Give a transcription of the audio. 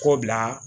Kɔ bila